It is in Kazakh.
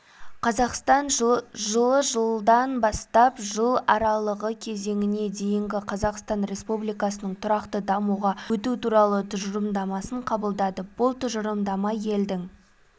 қазақстан жылы жылдан бастап жыл аралығы кезеңіне дейінгі қазақстан республикасының тұрақты дамуға өту туралы тұжырымдамасын қабылдады бұл тұжырымдама елдің